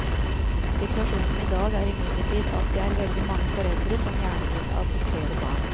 Situasjonen i dag er imidlertid at det er veldig mange foreldre som gjerne vil adoptere barn.